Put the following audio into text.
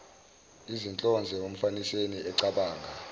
izinhlonze umfaniseni ecabanga